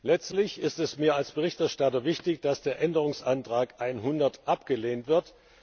Letztlich ist es mir als Berichterstatter wichtig, dass der Änderungsantragnbsp 100 abgelehnt wird.